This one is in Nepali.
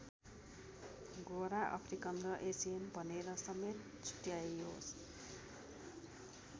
गोरा अफ्रिकन र एसियन भनेर समेत छुट्ट्याइयो।